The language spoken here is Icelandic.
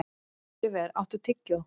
Óliver, áttu tyggjó?